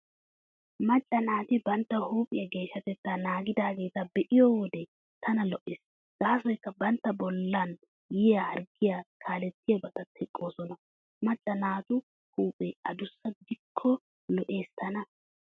Macca naati bantta huuphiyaa geeshshatettaa naagidaageeta be'iyo wode tana lo'ees. Gaasoykka bantta bollan yiya harggiyaa kaalettiyaabata teqqoosona. Macca naatu huuphee adussa gidikko lo'ees tana.